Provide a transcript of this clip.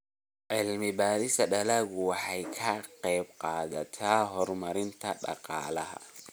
Cilmi-baarista dalaggu waxay ka qaybqaadataa horumarinta dhaqaalaha.